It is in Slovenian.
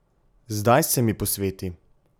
Zdaj se mi posveti.